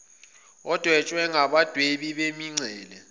odwetshwe ngabadwebi bemincele